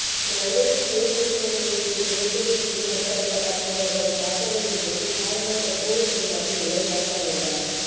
நல்லூரில் மேல் நீதிமன்ற நீதிபதி இளஞ்செழியன் மீது நடத்தப்பட்டதாக கூறப்படும் தாக்குதலின் போது காயமடைந்த பொலிஸ் அதிகாரி ஒருவர் மரணமடைந்தார்